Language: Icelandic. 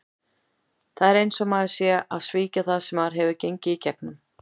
Það er eins og maður sé að svíkja það sem maður hefur gengið í gegnum.